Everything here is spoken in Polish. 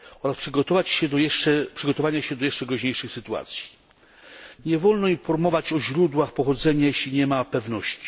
Należy przygotować się do jeszcze groźniejszych sytuacji. Nie wolno informować o źródłach pochodzenia, jeśli nie ma pewności.